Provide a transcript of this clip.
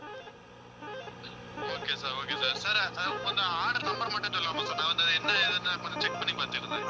okay sir okay sir sir கொஞ்சம் order number மட்டும் சொல்லலாமா sir நான் வந்து, என்ன ஏதுன்னு கொஞ்சம் check பண்ணி பார்த்துக்கிறேன்